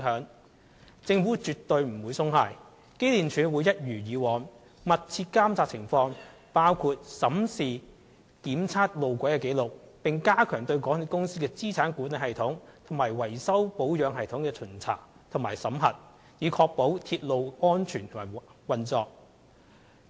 但政府絕不會鬆懈，機電署亦會一如以往，密切監察情況，包括審視路軌的檢測紀錄，並加強對港鐵公司的資產管理系統和維修保養系統的巡查及審核，以確保鐵路安全運作。